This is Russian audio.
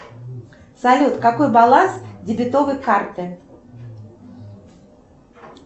салют какой баланс дебетовой карты